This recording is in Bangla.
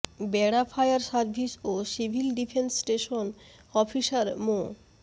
বেড়া ফায়ার সার্ভিস ও সিভিল ডিফেন্স স্টেশন অফিসার মো